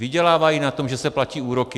Vydělávají na tom, že se platí úroky.